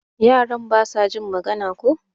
Yaran basa jin magana ko?